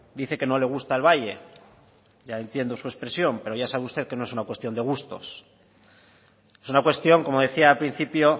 dice que no le gusta el valle ya entiendo su expresión pero ya sabe usted que no es una cuestión de gustos es una cuestión como decía al principio